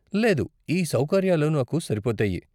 లేదు, ఈ సౌకర్యాలు నాకు సరిపోతాయి.